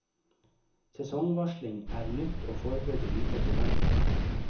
Sesongvarsling er nytt, og foreløpig lite troverdig.